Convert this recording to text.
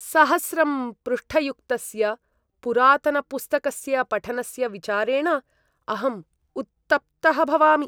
सहस्रं पृष्ठयुक्तस्य पुरातनपुस्तकस्य पठनस्य विचारेण अहम् उत्तप्तः भवामि।